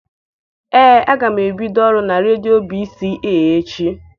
Ee, aga m ebido ọrụ na redio B.C.A echi.